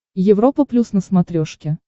европа плюс на смотрешке